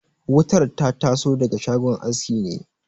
Wutar ta taso daga shagon aski ne